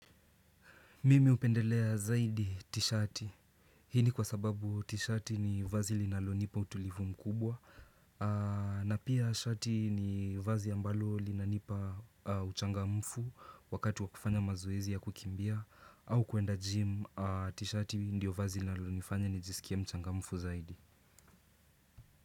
Mimi hupendelea zaidi t-shati. Hii ni kwa sababu t-shati ni vazi linalo nipa utulivu mkubwa. Na pia t-shati ni vazi ambalo linalo nipa uchangamufu wakati wakufanya mazoezi ya kukimbia. Au kuenda gym t-shati ndio vazi linalo nifanya nijisikie mchangamufu zaidi.